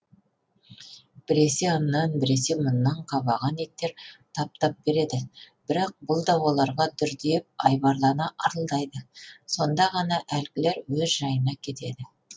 біресе аннан біресе мұннан қабаған иттер тап тап береді бірақ бұл да оларға дүрдиіп айбарлана ырылдайды сонда ғана әлгілер өз жайына кетеді